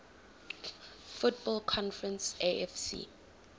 football conference afc